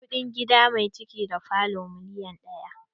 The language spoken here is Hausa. Kuɗin gida mai ciki da falo miliyan ɗaya.